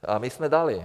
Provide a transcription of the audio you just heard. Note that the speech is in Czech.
A my jsme dali.